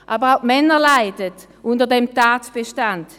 Aber auch die Männer leiden unter diesem Tatbestand.